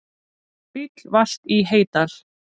Bíll valt í Heydal